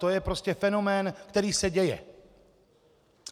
To je prostě fenomén, který se děje.